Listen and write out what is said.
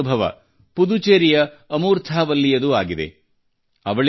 ಇದೇ ರೀತಿಯ ಅನುಭವ ಪುದುಚೇರಿಯ ಅಮೂರ್ಥಾ ವಲ್ಲಿಯದೂ ಆಗಿದೆ